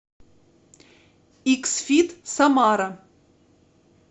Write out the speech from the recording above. икс фит самара